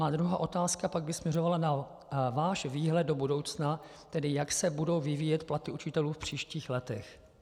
Má druhá otázka by pak směřovala na váš výhled do budoucna, tedy jak se budou vyvíjet platy učitelů v příštích letech.